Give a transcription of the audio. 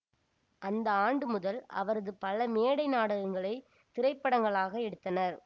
அந்த ஆண்டு முதல் அவரது பல மேடை நாடகங்களைத் திரைப்படங்களாக எடுத்தனர்